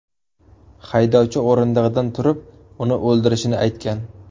Haydovchi o‘rindig‘idan turib, uni o‘ldirishini aytgan.